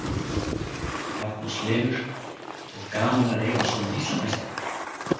Magnús Hlynur: Og gaman að eiga svona Íslandsmeistara?